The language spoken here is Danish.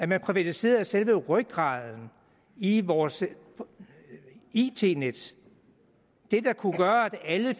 man privatiserede selve rygraden i vores it net det der kunne gøre at alle